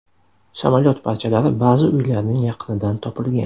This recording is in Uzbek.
Samolyot parchalari ba’zi uylarning yaqinidan topilgan.